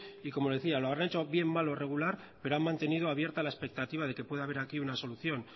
y como le decía lo habrán hecho bien mal o regular pero han mantenido la expectativa de que puede haber aquí una solución